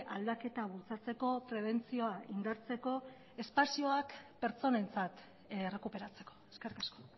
aldaketa bultzatzeko prebentzioa indartzeko espazioak pertsonentzat errekuperatzeko eskerrik asko